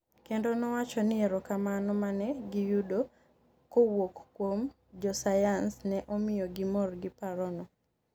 kendo nowacho ni erokamano mane giyudo kowuok kuom josayans ne omiyo gimor giparo no